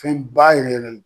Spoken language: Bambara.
Fɛn baa yɛrɛ yɛrɛ.